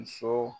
Muso